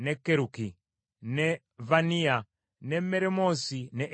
ne Vaniya, ne Meremoosi, ne Eriyasibu,